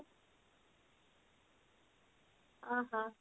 କଣ କହ